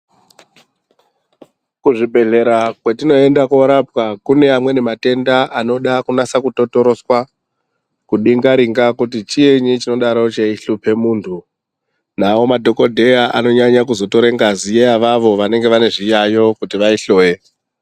Kuzvibhedhlera kwatinoenda korapwa kune amweni matenda anoda kunyasa kutotoroswa kudingaringa kuti chinyi chingadaro cheihlupa muntu nawo madhokodheya anoramba veitora ngazi revanenge veirwara kuti vava hloye.